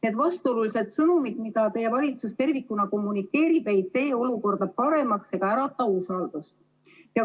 Need vastuolulised sõnumid, mida teie valitsus tervikuna kommunikeerib, ei tee olukorda paremaks ega ärata usaldust.